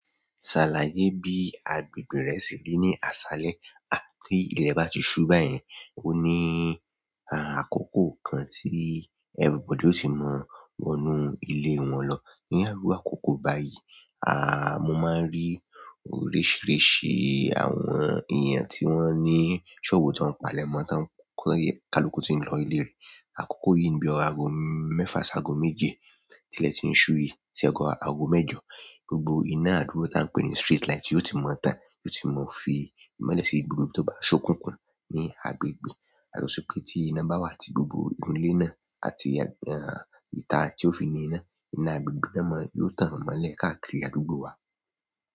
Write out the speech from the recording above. Ṣàlàyé bí agbègbè re rí ní àṣálẹ́ àti ilẹ̀ bá ti ṣú báyìí, ó ní àkókò kan tí everybody ó ti mọ̀ wọnú ilé wọn lọ. Ní iru àkókò báyìí, mo máa n rí oríṣìíríṣìí àwọn èèyàn tí wọ́n ní ṣọ́ọ̀bù tó ń palẹ̀mọ́, tá ń kálùkù tí ń lọ ilé rẹ. Àkókò yìí ní bí i ago mẹ́fà ṣágo méje tí ilẹ̀ ti ń ṣú yìí, tí ọrọ̀ ago mẹ́jọ, gbogbo iná àdúgbò tí a ń pè ní street light yóò ti mọ́ tán, yóò ti mọ́ fi ìmọ́lẹ̀ sí gbogbo ibi tó bá ṣokunkun ní agbègbè. A sì rò pé tí iná bá wà tí gbogbo irun ilé náà àti ìta tí ó fi ní iná, iná agbègbè náà máa yóò tàn mọ́lẹ̀ káàkiri àdúgbò wa.